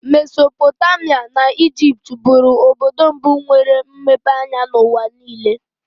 Mesopotamia na Ijipt bụrụ obodo mbụ nwetere mmepe anya n'ụwa niile.